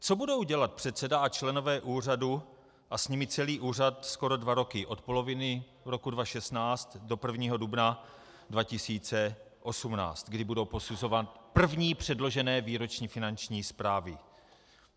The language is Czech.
Co bude dělat předseda a členové úřadu a s nimi celý úřad skoro dva roky od poloviny roku 2016 do 1. dubna 2018, kdy budou posuzovat první předložené výroční finanční zprávy?